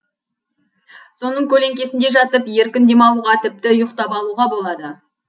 соның көлеңкесінде жатып еркін демалуға тіпті ұйықтап алуға болады